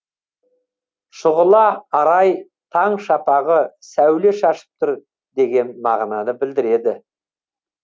шұғыла арай таң шапағы сәуле шашып тұр деген мағынаны білдіреді